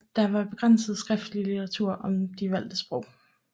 Der var begrænset skriftlig litteratur om de valgte sprog